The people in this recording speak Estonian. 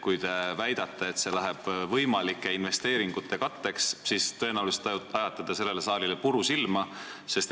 Kui te väidate, et see raha läheb võimalike investeeringute katteks, siis tõenäoliselt te ajate sellele saalile puru silma.